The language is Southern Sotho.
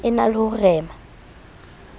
e na le ho rema